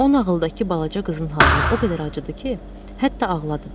O nağıldakı balaca qızın halına o qədər acıdı ki, hətta ağladı.